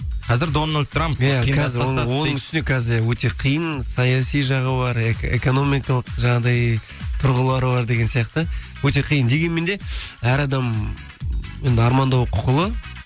қазір дональд трамп оның үстіне қазір иә өте қиын саяси жағы бар экономикалық жаңағыдай тұрғылар бар деген сияқты өте қиын дегенмен де әр адам енді армандауға құқылы